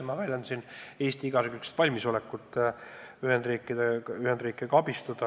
Ma väidan, et Eesti on valmis igakülgselt Ühendriike abistama.